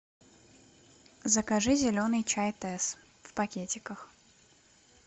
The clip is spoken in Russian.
закажи зеленый чай тесс в пакетиках